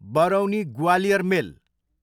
Barauni Gwalior मेल